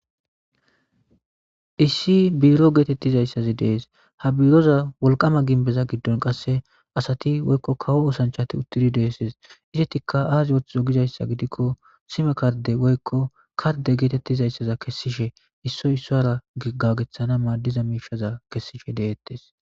Issi biro getetizaysaxi de'es ha biroza wolqama gimbezagidon qase asati woyko kawo oosanchati uttidi de'izaysa besses izetika azi othizo gizaysa gidiko sime kardeza woyko karde getetizaysa kesishe issoy issara gagethana madiza mishaza kesishe deetes